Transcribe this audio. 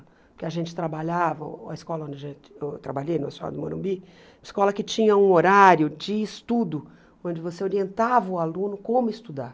Porque a gente trabalhava, a escola onde a gente eu trabalhei, na Escola do Morumbi, escola que tinha um horário de estudo, onde você orientava o aluno como estudar.